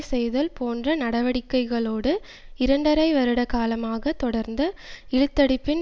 செய்தல் போன்ற நடவடிக்கைகளோடு இரண்டரை வருட காலமாக தொடர்ந்த இழுத்தடிப்பின்